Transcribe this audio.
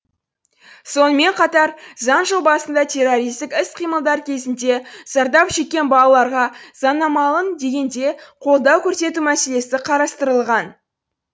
сонымен қатар заң жобасында террористік іс қимылдар кезінде зардап шеккен балаларға заңнамалың деңгейде қолдау көрсету мәселесі қарастырылған